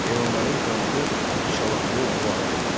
Heyvanların qanını, içalatını bulağa tökdülər.